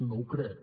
no ho crec